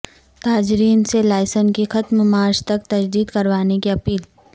تاجرین سے لائسنس کی ختم مارچ تک تجدید کروانے کی اپیل